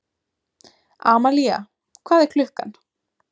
Amalía, hvað er klukkan?